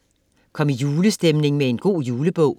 Kom i julestemning med en god julebog.